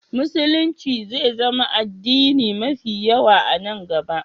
Musulunci zai zama addini mafi yawa a nan gaba.